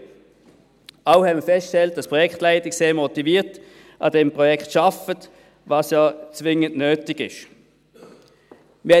Wir haben auch festgestellt, dass die Projektleitung sehr motiviert an diesem Projekt arbeitet, was ja zwingend nötig ist.